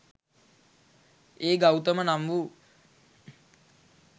ඒ ගෞතම නම් වූ